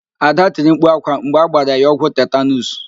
Ada tiri mkpu ákwá mgbe agbara ya ọgwụ nje tetanuus.